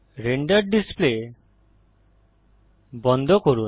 render display বন্ধ করুন